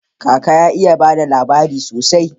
Kaka ya iya bada labari sosai